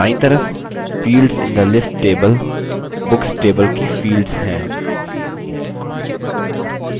और दायीं तरफ fields in the list table books table की fields हैं